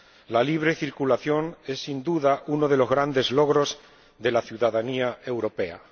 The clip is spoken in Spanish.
La libre circulación es, sin duda, uno de los grandes logros de la ciudadanía europea.